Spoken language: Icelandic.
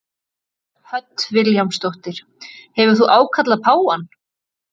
Hödd Vilhjálmsdóttir: Hefur þú ákallað páfann?